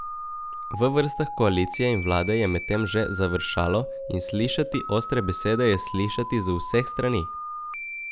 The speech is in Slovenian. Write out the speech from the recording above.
V vrstah koalicije in vlade je medtem že završalo in slišati ostre besede je slišati z vseh strani.